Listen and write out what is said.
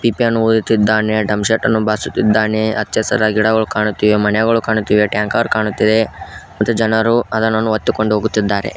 ಪಿಪಿಯನ್ನು ಊದುತಿದ್ದಾನೆ drum set ಅನ್ನು ಬಾರಿಸುತ್ತಿದ್ದಾನೆ ಹಚ್ಚ ಹಸಿರಾ ಗಿಡಗಳು ಕಾಣುತ್ತಿವೆ ಮನೆಗಳು ಕಾಣುತ್ತಿವೆ ಟ್ಯಾಂಕರ್ ಕಾಣುತ್ತಿದೆ ಮತ್ತು ಜನರು ಅದನ್ನು ಒತ್ತಿಕೊಂಡು ಹೋಗುತ್ತಿದ್ದಾರೆ.